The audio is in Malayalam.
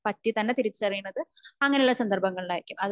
പറ്റി തന്നെ തിരിച്ചറിയുന്നത് അങ്ങനെ ഉള്ള സന്ദർഭങ്ങളിൽ ആയിരിക്കും